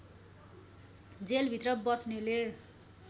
जेलभित्र बस्नेले